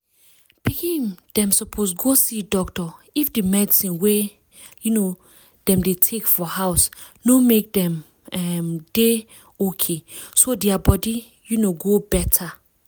pikin dem suppose go see doctor if the medicine wey um dem dey take for house no make dem um dey okayso dia body um go better